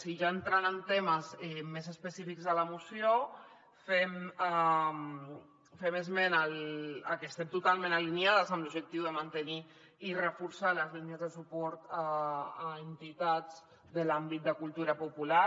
i ja entrant en temes més específics de la moció fem esmena a que estem totalment alineades amb l’objectiu de mantenir i reforçar les línies de suport a entitats de l’àmbit de cultura popular